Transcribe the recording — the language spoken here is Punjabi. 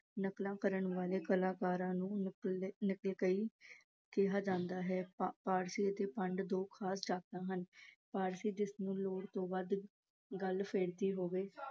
ਨਕਲਾਂ ਕਰਨ ਵਾਲੇ ਕਲਾਕਾਰਾਂ ਨੂੰ ਨਕਲਚੀ ਕਿਹਾ ਜਾਂਦਾ ਹੈ। ਅਤੇ ਭੰਡ ਦੋ ਖਾਸ ਜਾਤਾਂ ਹਨ। ਜਿਸਨੂੰ ਲੋੜ ਤੋਂ ਵੱਧ ਗੱਲ ਸੁਝਦੀ ਹੋਵੇ